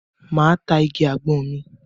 Máa ta igi àgbọn mi.